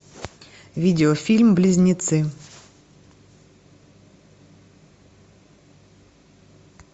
видеофильм близнецы